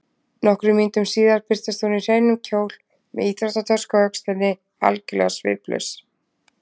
Nokkrum mínútum síðar birtist hún í hreinum kjól með íþróttatösku á öxlinni, algjörlega sviplaus.